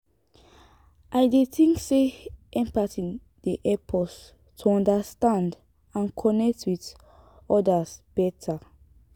i dey think say empathy dey help us to understand and connect with odas beta.